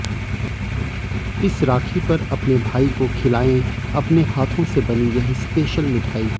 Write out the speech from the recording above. इस राखी पर अपने भाई को खिलाये अपने हाथो से बनी यह स्पेशल मिठाई